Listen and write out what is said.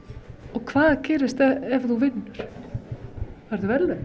og hvað gerist ef þú vinnur færðu verðlaun